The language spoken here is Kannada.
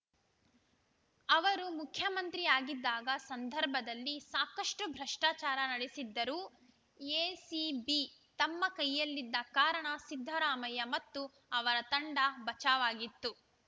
ಅವರು ಮುಖ್ಯಮಂತ್ರಿಯಾಗಿದ್ದ ಸಂದರ್ಭದಲ್ಲಿ ಸಾಕಷ್ಟು ಭ್ರಷ್ಟಾಚಾರ ನಡೆಸಿದ್ದರು ಎಸಿಬಿ ತಮ್ಮ ಕೈಯಲ್ಲಿದ್ದ ಕಾರಣ ಸಿದ್ದರಾಮಯ್ಯ ಮತ್ತು ಅವರ ತಂಡ ಬಚಾವಾಗಿತ್ತು